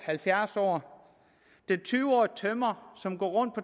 halvfjerds år den tyve årige tømrer som går